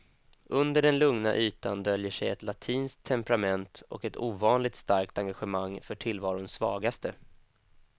Under den lugna ytan döljer sig ett latinskt temperament och ett ovanligt starkt engagemang för tillvarons svagaste.